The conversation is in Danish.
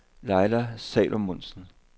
Laila Salomonsen